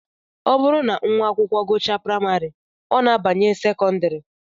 Ọ bụrụ na nwa akwụkwọ gụchaa praịmarị, ọ na-abanye sekọndịrị